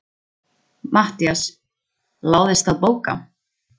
MATTHÍAS: Láðist að bóka?